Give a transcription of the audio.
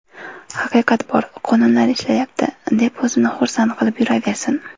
Haqiqat bor, qonunlar ishlayapti, deb o‘zini xursand qilib yuraversin.